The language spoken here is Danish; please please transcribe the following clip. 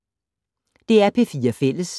DR P4 Fælles